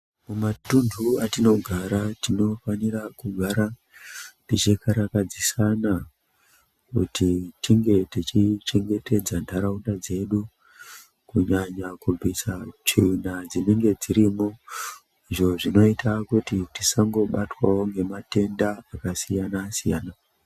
Mumatundu atinogara tinofanira kugara tichikarakadzisana kuti tinge tichichengetedza ndaraunda dzedu kunyanya kubvisa tsvina dzinenge dzirimo izvo zvinoita kuti tisangobatwawo ngematenda akasiyana siyana .